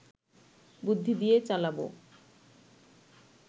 বুদ্ধি দিয়ে চালাবো